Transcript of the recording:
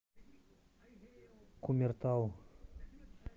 кумертау